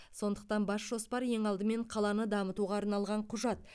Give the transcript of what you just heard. сондықтан бас жоспар ең алдымен қаланы дамытуға арналған құжат